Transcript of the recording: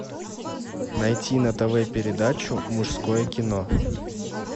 найти на тв передачу мужское кино